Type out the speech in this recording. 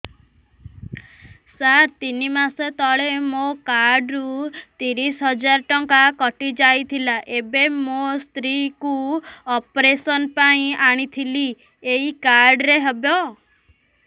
ସାର ତିନି ମାସ ତଳେ ମୋ କାର୍ଡ ରୁ ତିରିଶ ହଜାର ଟଙ୍କା କଟିଯାଇଥିଲା ଏବେ ମୋ ସ୍ତ୍ରୀ କୁ ଅପେରସନ ପାଇଁ ଆଣିଥିଲି ଏଇ କାର୍ଡ ରେ ହବ